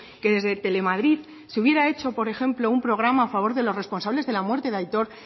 que desde telemadrid se hubiera hecho por ejemplo un programa a favor de los responsables de la muerte de aitor